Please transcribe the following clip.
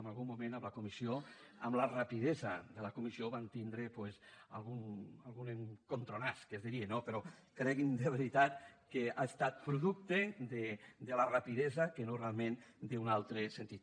en algun moment a la comissió amb la rapidesa de la comissió vam tindré doncs alguna topada que es diria no però cregui’m de veritat que ha estat producte de la rapidesa que no realment d’un altre sentit